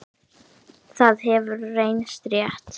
Það hefur reynst rétt.